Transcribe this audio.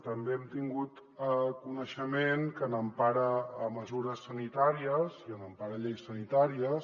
també hem tingut coneixement que a l’empara de mesures sanitàries i a l’empara de lleis sanitàries